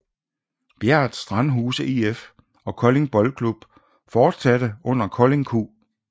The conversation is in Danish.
Bjært Strandhuse IF og Kolding Boldklub fortsatte under KoldingQ